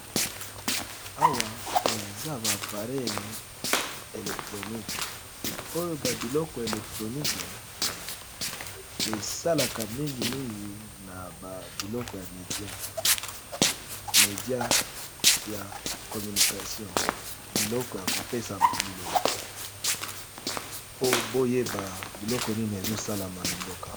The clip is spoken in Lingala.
Awa eza ba pareil electronique oyo ba biloko electronique esalaka mingi mingi na ba biloko ya media media ya communication biloko ya kopesa liloba y boyeba biloko nini ezosalama na mboka